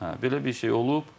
Hə, belə bir şey olub.